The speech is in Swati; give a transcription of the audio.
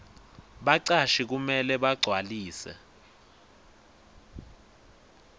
bacashi kumele bagcwalise